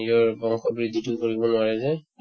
নিজৰ বয়সৰ বৃদ্ধিতো কৰিব নোৱাৰে যে